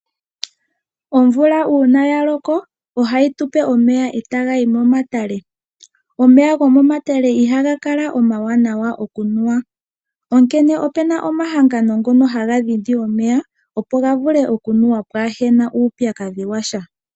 Omvula uuna ya loko, ohayi tu pe omeya, e taga yi momatale. Omeya go momatale ihaga kala omawanawa oku nwa, onkene ope na omahangano ngono haga dhindi omeya, opo ga vule oku mnuwa, pwaana uupyakadhi wa sha.